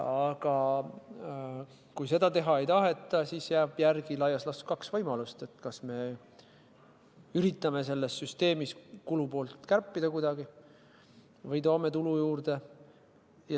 Aga kui seda teha ei taheta, siis jääb laias laastus järele kaks võimalust: kas me üritame selles süsteemis kulupoolt kärpida kuidagi või toome tulu juurde.